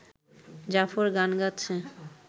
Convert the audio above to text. জাফর গান গাচ্ছে